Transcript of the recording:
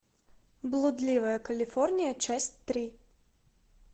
блудливая калифорния часть три